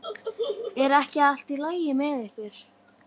Er ekki allt í lagi með ykkur?